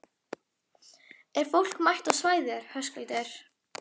Er fólk mætt á svæðið, Höskuldur?